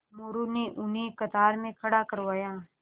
मोरू ने उन्हें कतार में खड़ा करवाया